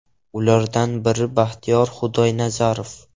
Ulardan biri Baxtiyor Xudoynazarov.